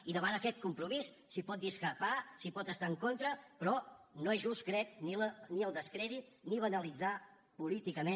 i davant aquest compromís s’hi pot discrepar s’hi pot estar en contra però no és just crec ni el descrèdit ni banalitzar lo políticament